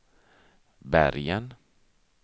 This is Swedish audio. Bergen